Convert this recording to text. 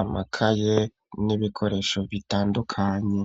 amakaye n'ibikoresho bitandukanye.